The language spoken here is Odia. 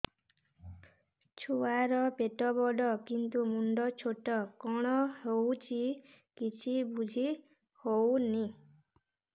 ଛୁଆର ପେଟବଡ଼ କିନ୍ତୁ ମୁଣ୍ଡ ଛୋଟ କଣ ହଉଚି କିଛି ଵୁଝିହୋଉନି